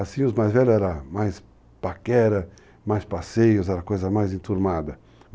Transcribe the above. Assim, os mais velhos eram mais paquera, mais passeios, era coisa mais enturmada.